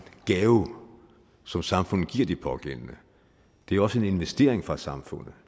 gave som samfundet giver de pågældende det er også en investering for samfundet